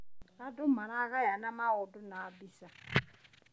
Andũ maragayana maũndũ na mbica.